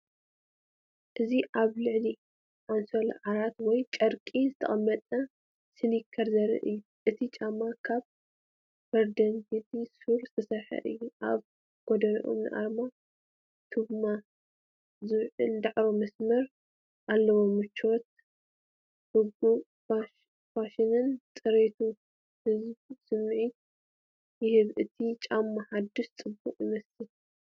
እዚ ኣብ ልዕሊ ኣንሶላ ዓራት ወይ ጨርቂ ዝተቐመጠ ስኒከር ዘርኢ እዩ። እቲ ጫማ ካብ በርገንዲ ሱድ ዝተሰርሐ እዩ። ኣብ ጎድኖም ንኣርማ ፑማ ዝውክል ጻዕዳ መስመር ኣለዎም። ምቾት፡ርጉእ ፋሽንን ጽሬትን ዝህብ ስምዒት ይህብ። እቲ ጫማ ሓድሽን ጽቡቕን ይመስል።